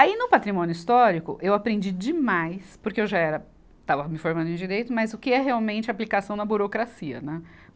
Aí no patrimônio histórico eu aprendi demais, porque eu já era, estava me formando em direito, mas o que é realmente aplicação na burocracia, né?